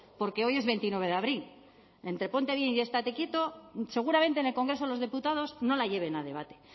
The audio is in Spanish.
porque hoy es veintinueve de abril entre ponte bien y estate quieto seguramente en el congreso de los diputados no la lleven a debate